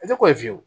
A tɛ ko ye fiyewu